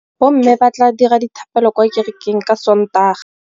Bommê ba tla dira dithapêlô kwa kerekeng ka Sontaga.